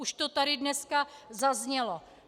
Už to tady dneska zaznělo.